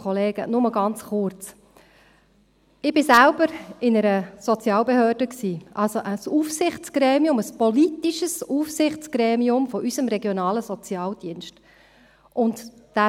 Nur ganz kurz: Ich war selbst in einer Sozialbehörde, also in einem Aufsichtsgremium, im politischen Aufsichtsgremium unseres regionalen Sozialdienstes.